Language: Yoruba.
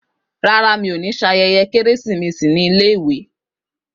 Rárá, mi ò ní ṣe ayẹyẹ Kérésìmesì ní iléèwé.